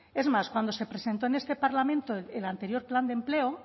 es más cuando se presentó en este parlamento el anterior plan de empleo